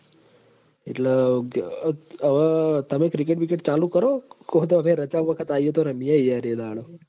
એટલ હું કહેવાય અવ તમે cricket ચાલુ કરો કોક વખત રજા વખત આઇયે તો રમીએ એ દાડો